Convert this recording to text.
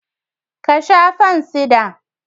Ka sha fansida